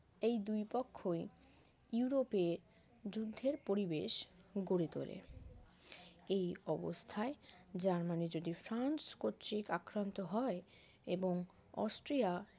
এই দুই পক্ষই ইউরোপে যুদ্ধের পরিবেশ গড়ে তোলে এই অবস্থায় জার্মানি যদি ফ্রান্স কর্তৃক আক্রান্ত হয় এবং অস্ট্রিয়া